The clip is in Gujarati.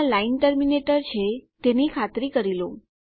ત્યાં લાઈન ટર્મિનેટર છે તેની ખાતરી કરી લો